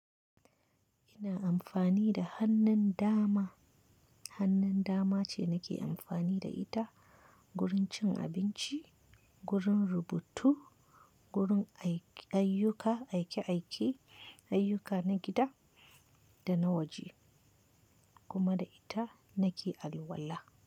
Ina amfani da hannun dama, hannun dama ce nake amfani da ita gurin cin abinci, gurin rubutu, gurin ayyuka aike-aike, ayyuka na gida da na waje kuma da ita nake alwala.